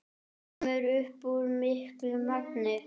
Kemur upp í miklu magni.